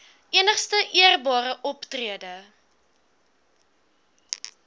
enigste eerbare optrede